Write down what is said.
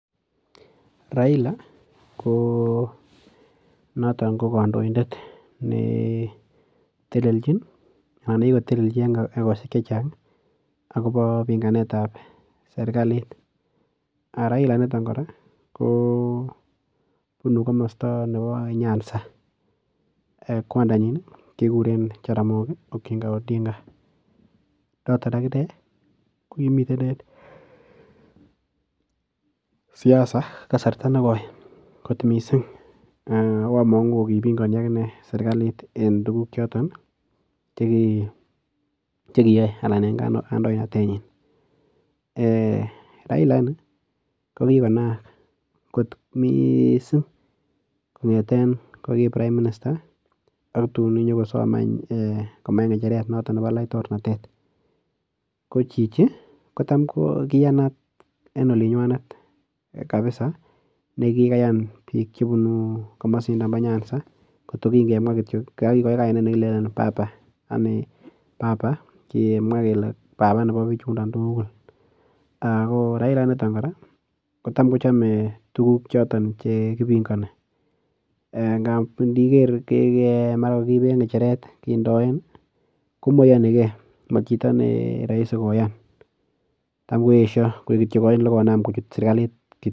Raila konoto ko kandoindet netelelchin anan nekikotelelji en egosiek che chang agobo pinganetab sergalit. Raila initok kora kobunu komesta nebo nyanza. Kwandanyin keguren Jaramogi Oginga Odinga. Notok ak inne kokimiten siasa kasarta nekoi kot mising ago amangu kipingani ak inne sergalit en tuguk choton chekiyoe en kandoinatenyin. Raila ini kokikonaak kot mising kongete ko ki Prime Minister ak tun inyokosom anyun komach ngecheret noton nebo laitornatet. Ko chichi kotam, kiyanat en olinywanet kapisa ne kikayan biik chebunu komosindon bo Nyanza kot ko kingemwa kityok, agokikikoe kainet nekile papa. Papa ngemwa kele papa nebo biichundon tugul. Raila initon kora kotam kochame tuguk choton che kipingani ngab iniger mara kokakiiben ngecheret kindoen komaiyoni ke. Machito ne raisi koyan tam koesio koik kityo ain olekoinam kuchut sergalit.